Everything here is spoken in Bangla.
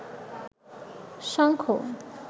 শঙ্খ